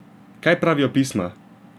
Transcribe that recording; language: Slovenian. Kaj pravijo pisma?